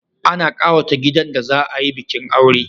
Ana kawata gidan da za a yi bikin aure